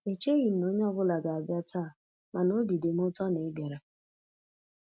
E cheghị m na onye ọ bụla ga-abịa taa, mana obi dị m ụtọ na ị́ bịara.